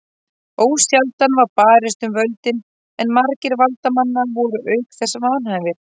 Ósjaldan var barist um völdin en margir valdamanna voru auk þess vanhæfir.